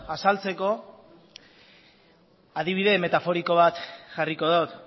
azaltzeko adibide metaforiko bat jarriko dut